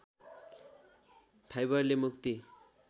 फाइबरले मुक्ति